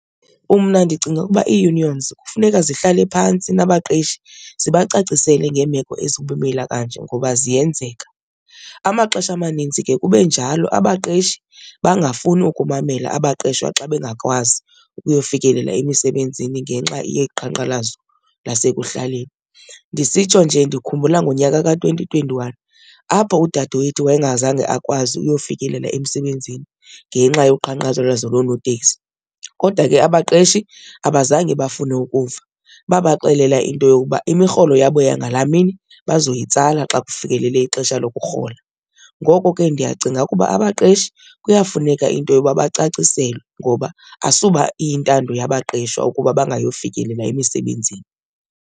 Mna ndicinga ukuba ii-unions kufuneka zihlale phantsi nabaqeshi zibacacisele ngemeko ezibumila kanje ngoba ziyenzeka. Amaxesha amanintsi ke kube njalo abaqeshi bangafuni ukumamela abaqeshwa xa bengakwazi ukuyofikelela emisebenzini ngenxa yeqhankqalazo lasekuhlaleni. Ndisitsho nje ndikhumbula ngonyaka ka-twenty twenty-one apho udadewethu wayengazange akwazi uyofikelela emsebenzini ngenxa yoqhankqalazo loonotekisi kodwa ke abaqeshi abazange bafune ukuva, babaxelela into yokuba imirholo yabo yangala mini bazoyitsala xa kufikelele ixesha lokurhola. Ngoko ke ndiyacinga ukuba abaqeshi kuyafuneka into yoba bacaciselwe ngoba asuba iyintando yabaqeshwa ukuba bangayofikelela emisebenzini.